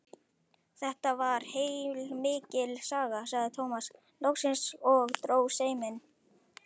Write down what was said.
Þetta var heilmikil saga, sagði Tómas loksins og dró seiminn.